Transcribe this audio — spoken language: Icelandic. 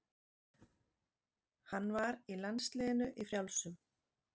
Hann var í landsliðinu í frjálsum.